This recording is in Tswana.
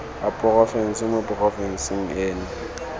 a porofense mo porofenseng eno